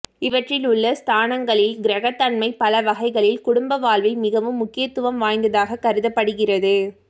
இவற்றில் உள்ள ஸ்தானங்களின் கிரக தன்மை பல வகைகளில் குடும்ப வாழ்வில் மிகவும் முக்கியத்துவம் வாய்ந்ததாக கருதப்படுகிறது